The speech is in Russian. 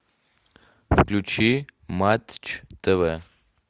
включи матч тв